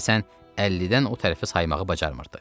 Deyəsən 50-dən o tərəfə saymağı bacarmırdı.